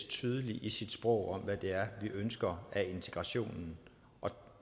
tydelig i sit sprog til hvad det er vi ønsker af integrationen og